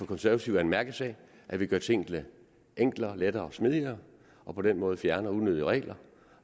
konservative er en mærkesag at vi gør tingene enklere lettere og smidigere og på den måde fjerner unødige regler